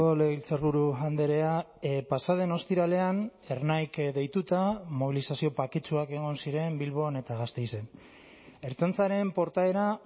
legebiltzarburu andrea pasa den ostiralean ernaik deituta mobilizazio baketsuak egon ziren bilbon eta gasteizen ertzaintzaren portaera